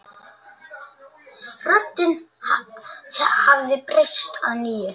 Röddin hafði breyst að nýju.